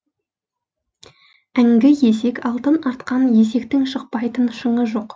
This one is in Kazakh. әңгі есек алтын артқан есектің шықпайтын шыңы жоқ